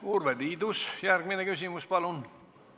Urve Tiidus, järgmine küsimus, palun!